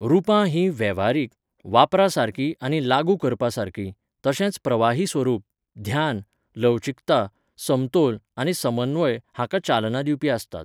रूपां हीं वेव्हारीक, वापरपासारकीं आनी लागू करपासारकीं, तशेंच प्रवाही स्वरूप, ध्यान, लवचिकता, समतोल आनी समन्वय हांकां चालना दिवपी आसतात.